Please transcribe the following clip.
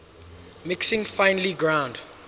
mixing finely ground